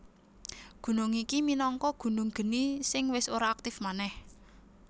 Gunung iki minangka gunung geni sing wis ora aktif manèh